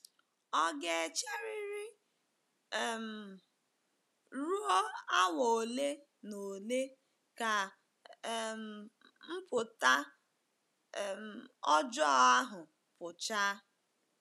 Ọ ga-echeriri um ruo awa ole na ole ka um mpụta um ọjọọ ahụ pụchaa.